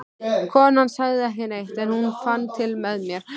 Konan sagði ekki neitt, en hún fann til með mér.